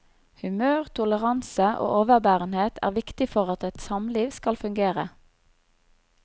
Humør, toleranse og overbærenhet er viktig for at et samliv skal fungere.